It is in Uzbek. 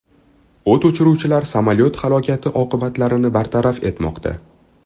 O‘t o‘chiruvchilar samolyot halokati oqibatlarini bartaraf etmoqda.